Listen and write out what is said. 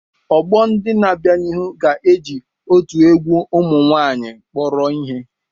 Ọgbọ ndị na-abịa n'ihu ga-eji otu egwu ụmụ nwaanyịkpọrọ ihe.